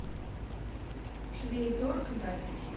швейторг запись